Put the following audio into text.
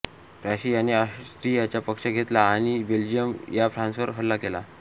प्रशियाने ऑस्ट्रियाचा पक्ष घेतला आणि बेल्जियम व फ्रान्सवर हल्ला केला